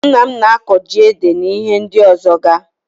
Nna m n'akọ ji ede na ihe ndi ọzọga.